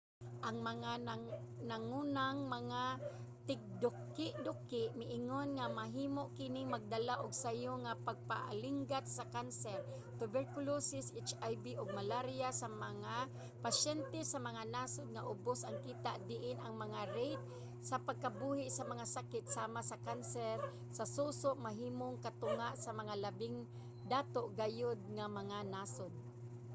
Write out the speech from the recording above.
ang mga nangunang mga tigdukiduki miingon nga mahimo kining magdala og sayo nga pagkaalinggat sa kanser tuberculosis hiv ug malaria sa mga pasyente sa mga nasud nga ubos ang kita diin ang mga rate sa pagkabuhi sa mga sakit sama sa kanser sa suso mahimong katunga sa mga labing dato gayud nga mga nasud